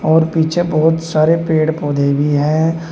और पीछे बहुत सारे पेड़ पौधे भी हैं।